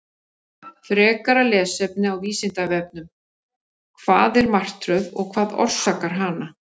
Frekara lesefni á Vísindavefnum: Hvað er martröð og hvað orsakar hana?